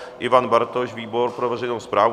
Ivan Bartoš - výbor pro veřejnou správu?